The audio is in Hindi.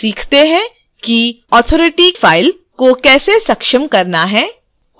इसके बाद सीखते हैं कि authority file को कैसे सक्षम करना है